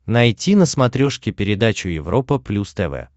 найти на смотрешке передачу европа плюс тв